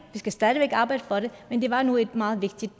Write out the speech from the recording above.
vi skal stadig væk arbejde for det men det var nu et meget vigtigt